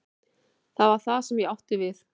Það var það sem ég átti við.